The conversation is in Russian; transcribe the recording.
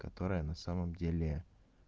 которая на самом деле